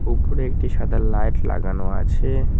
উপরে একটি সাদা লাইট লাগানো আছে।